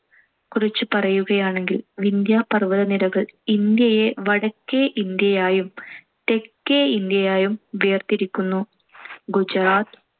കുറിച്ച് പറയുകയാണെങ്കിൽ വിന്ധ്യ പര്‍വ്വതനിരകള്‍ ഇന്ത്യയെ വടക്കേ ഇന്ത്യയായും തെക്കേ ഇന്ത്യയായും വേർതിരിക്കുന്നു. ഗുജറാത്ത്,